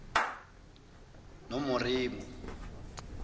nomoremo